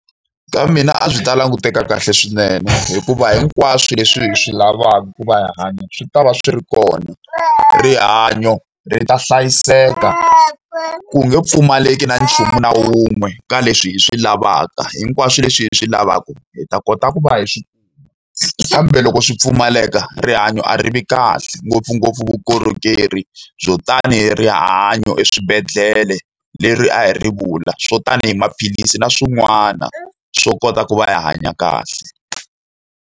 Ka mina a byi ta languteka kahle swinene, hikuva hinkwaswo leswi hi swi lavaka ku va hanya swi ta va swi ri kona. Rihanyo ri ta hlayiseka, ku nge pfumaleki na nchumu na wun'we ka leswi hi swi lavaka. Hinkwaswo leswi hi swi lavaka, hi ta kota ku va hi swi . Kambe loko swi pfumaleka, rihanyo a ri vi kahle. Ngopfungopfu vukorhokeri byo tanihi rihanyo eswibedhlele leri a hi ri vula, swo tanihi maphilisi na swin'wana swo kota ku va hanya kahle.